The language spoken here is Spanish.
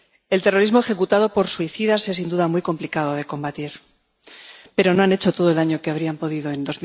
El terrorismo ejecutado por suicidas es sin duda muy complicado de combatir, pero no han hecho todo el daño que habrían podido en